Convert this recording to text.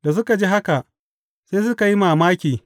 Da suka ji haka, sai suka yi mamaki.